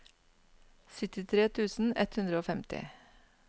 syttitre tusen ett hundre og femti